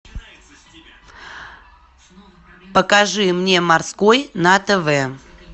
покажи мне морской на тв